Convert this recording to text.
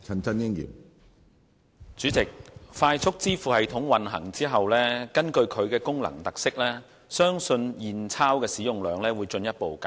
主席，快速支付系統運行後，基於其功能特色，相信現鈔的使用量會進一步減少。